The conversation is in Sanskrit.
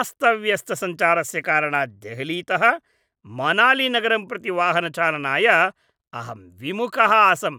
अस्तव्यस्तसञ्चारस्य कारणात् देहलीतः मनालीनगरं प्रति वाहनचालनाय अहं विमुखः आसं